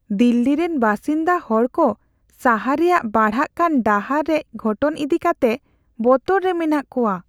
ᱫᱤᱞᱞᱤ ᱨᱮᱱ ᱵᱟᱹᱥᱤᱱᱫᱟ ᱦᱚᱲᱠᱚ ᱥᱟᱦᱟᱨ ᱨᱮᱭᱟᱜ ᱵᱟᱲᱦᱟᱜ ᱠᱟᱱ ᱰᱟᱦᱟᱨ ᱨᱮᱡᱽ ᱜᱷᱚᱴᱚᱱ ᱤᱫᱤᱠᱟᱛᱮ ᱵᱚᱛᱚᱨ ᱨᱮ ᱢᱮᱱᱟᱜ ᱠᱚᱣᱟ ᱾